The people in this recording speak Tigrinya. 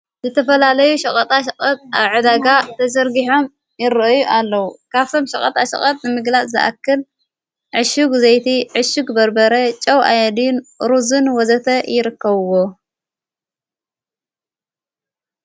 ዘተፈላለዩ ሸቐጣ ሸቐት ኣብ ዕዳጋ ተዘርጕሖም ይርእዩ ኣለዉ ካሰም ሸቐጣ ሸቐጥ ንምግላእ ዘኣክል ዕሹጕ ዘይቲ ዕሹግ በርበረ ጨው ኣያድን ሩዝን ወዘተ ይርከውዎ።